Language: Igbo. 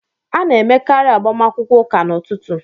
A na-emekarị agbamakwụkwọ ụka n'ụtụtụ